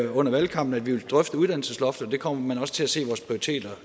under valgkampen at vi ville drøfte uddannelsesloftet og det kommer man også til at se